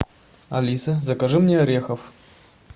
алиса закажи мне орехов